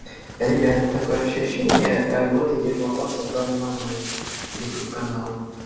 ребята такое ощущение как-будто ермаков создал новый ютуб канал